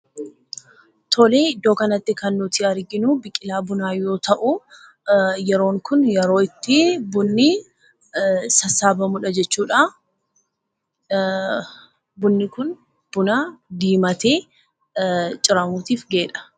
Iddoo kanatti kan nuti arginu biqilaa bunaa yoo ta'u, yeroon kun yeroo itti bunni sassaabamudha jechuudha. Bunni kun buna diimatee ciramuutiif gaheedha.